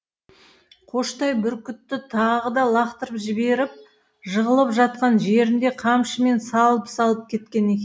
қоштай бүркітті тағы да лақтырып жіберіп жығылып жатқан жерінде қамшымен салып салып кеткен екен